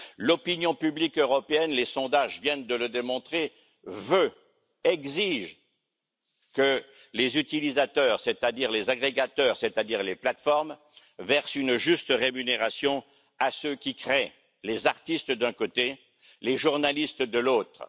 L'opinion publique européenne, les sondages viennent de le démontrer, exige que les utilisateurs, c'est à dire les agrégateurs, c'est à dire les plateformes, versent une juste rémunération à ceux qui créent les artistes d'un côté, les journalistes de l'autre.